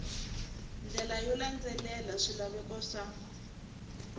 ndlela yo landzelela swilaveko swa